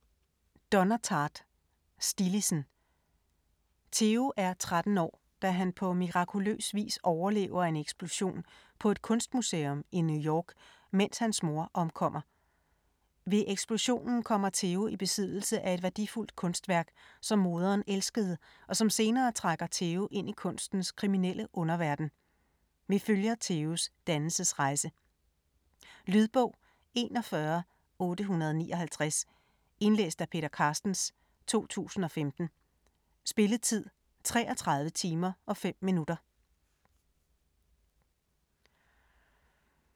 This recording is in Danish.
Tartt, Donna: Stillidsen Theo er 13 år, da han på mirakuløs vis overlever en eksplosion på et kunstmuseum i New York, mens hans mor omkommer. Ved eksplosionen kommer Theo i besiddelse af et værdifuldt kunstværk, som moderen elskede, og som senere trækker Theo ind i kunstens kriminelle underverden. Vi følger Theos dannelsesrejse. Lydbog 41859 Indlæst af Peter Carstens, 2015. Spilletid: 33 timer, 5 minutter.